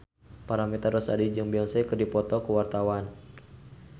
Paramitha Rusady jeung Beyonce keur dipoto ku wartawan